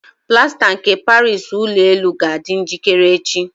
Plasta nke Paris Ụlọ elu ga-adị njikere echi.